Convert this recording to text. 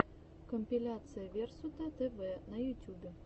компиляция версутатэвэ на ютюбе